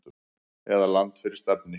eða Land fyrir stafni.